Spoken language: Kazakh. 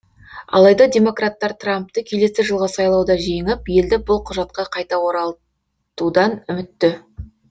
алайда демократтар трампты келесі жылғы сайлауда жеңіп елді бұл құжатқа қайта оралтудан үмітті